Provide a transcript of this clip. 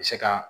Se ka